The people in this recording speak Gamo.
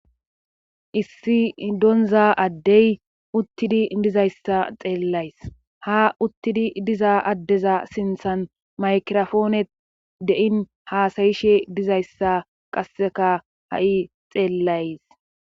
Issi doonza addey uttidi dizayssa xeellays,ha uttidi diza addeza sinthan maykirofoone deyin haasayishe dizayssa qasseka ha7i xeellays.